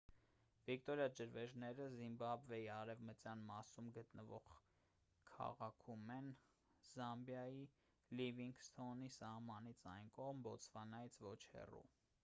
վիկտորիա ջրվեժները զիմբաբվեի արևմտյան մասում գտնվող քաղաքում են զամբիայի լիվինգսթոնի սահմանից այն կողմ բոտսվանայից ոչ հեռու